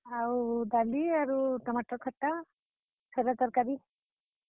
ଆଉ ଡାଲି ଆରୁ, ଟମାଟର୍ ଖଟ୍ଟା ସାଧା ତର୍ କାରୀ।